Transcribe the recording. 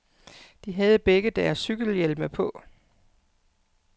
De havde begge deres cykelhjelme på.